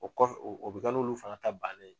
O kɔfɛ o o bɛ kɛ n'olu fana ta bannen ye.